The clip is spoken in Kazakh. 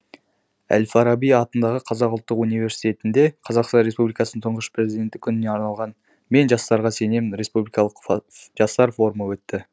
әл фараби атындағы қазақ ұлттық университетінде қазақстан республикасы тұңғыш президенті күніне арналған мен жастарға сенемін республикалық жастар форумы өтті